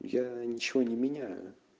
я ничего не меняю